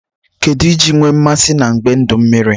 Kedu iji nwe mmasi na ngbe udu mmiri?